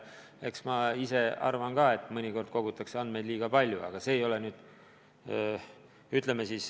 Eks ma ise arvan ka, et mõnikord kogutakse andmeid liiga palju, aga see ei ole see koht.